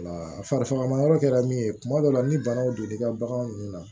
Wala fagama yɔrɔ kɛra min ye kuma dɔ la ni banaw don n'i ka bagan ninnu na